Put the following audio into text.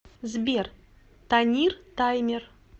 сбер танир таймер